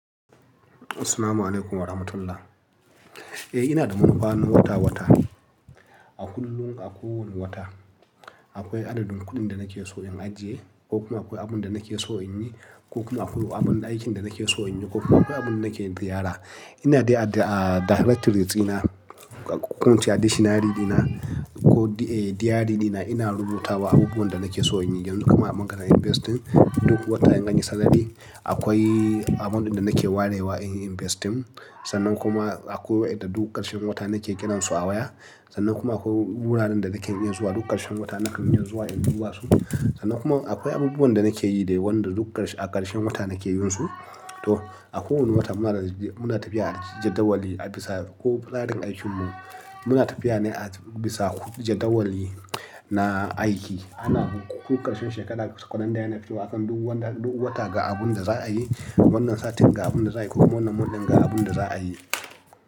Assalamu'alaikum warahmatullahi. Eh, ina da manufa na wata wata. A kullum, a kowane wata akwai adadin kuɗin da nake so in ajiye ko kuma akwai abin da nake so in yi ko kuma akwai abin aikin da nake so in yi ko kuma akwai abin da nake ziyara. Ina dai a directories dina, ko ince a dictionary dina ko diary dina ina rubutawa abubuwan da nake so in yi yanzu kamar a bangaren investing duk wata in anyi salary akwai abun da nake warewa in yi investing sannan kuma akwai wa'inda duk ƙarshen wata nake kiransu a waya sannan kuma akwai wuraren da nake iya zuwa duk ƙarshen wata nakan yi zuwa in bi wasu sannan kuma akwai abubuwan da nake yi dai wanda duk ƙarshe a ƙarshen wata nake yinsu. To a kowane wata muna tafiya a jadawali a bisa ko tsarin aikinmu. Muna tafiya ne a bisa jadawali na aiki. Ana ko ƙarshen shekara kalanda ya na fitowa akan duk wata ga abun da za a yi wannan satin ga abun da za a yi ko ko wannan month din ga abun da za a yi.